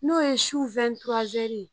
N'o ye su ye